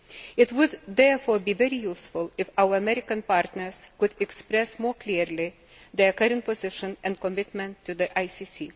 It would therefore be very useful if our American partners could express more clearly their current position and commitment to the ICC.